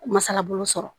Masalabolo sɔrɔ